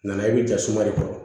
Na i bɛ ja suma de kɔrɔ